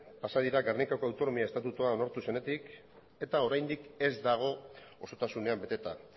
pasa dira gernikako autonomia estatutua onartu zenetik eta oraindik ez dago osotasunean beteta